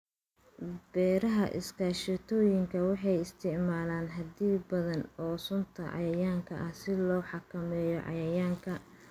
Beeraha iskaashatooyinka waxay isticmaalaan xaddi badan oo sunta cayayaanka ah si loo xakameeyo cayayaanka.